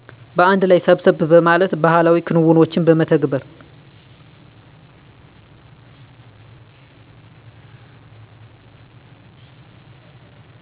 በአንድ ላይ ሰብሰብ በማለት ባህላዊ ክንውኖችን በመተግበር